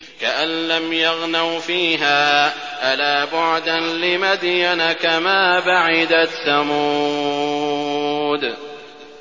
كَأَن لَّمْ يَغْنَوْا فِيهَا ۗ أَلَا بُعْدًا لِّمَدْيَنَ كَمَا بَعِدَتْ ثَمُودُ